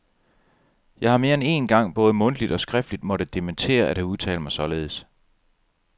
Jeg har mere end én gang både mundtligt og skriftligt måtte dementere at have udtalt mig således.